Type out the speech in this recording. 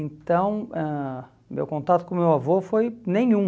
Então, ãh meu contato com meu avô foi nenhum.